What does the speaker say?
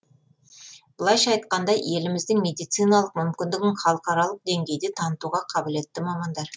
былайша айтқанда еліміздің медициналық мүмкіндігін халықаралық деңгейде танытуға қабілетті мамандар